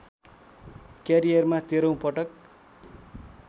क्यारियरमा तेह्रौँ पटक